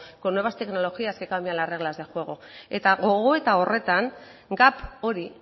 con nuevas tecnologías que cambian las reglas de juego eta gogoeta horretan gap hori